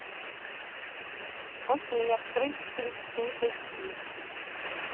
окей открыть флик снип эчди